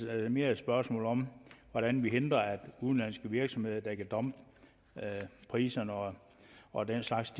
er mere et spørgsmål om hvordan vi hindrer at udenlandske virksomheder der kan dumpe priserne og og den slags